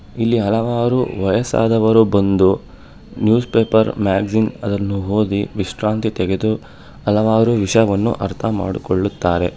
ಇಲ್ಲಿ ಹಲವಾರು ವಯಸ್ಸಾದವರು ಬಂದು ನ್ಯೂಸ್ ಪೇಪರ್ ಮ್ಯಾಗ್ಜಿನ್ ಅದನ್ನು ಓದಿ ವಿಶ್ರಾಂತಿ ತೆಗೆದು ಹಲವಾರು ವಿಷಯವನ್ನು ಅರ್ಥ ಮಾಡಿಕೊಳ್ಳುತ್ತಾರೆ.